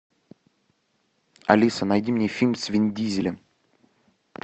алиса найди мне фильм с вин дизелем